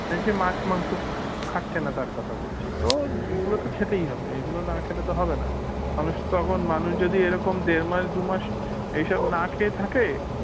এই যে মাছ মাংস খাচ্ছে না তার কথা বলছি তো এগুলো তো খেতেই হবে এগুলো না খেলে তো হবেনা মানুষ তখন মানুষ যদি এরকম দেড় মাস দুমাস এসব না খেয়ে থাকে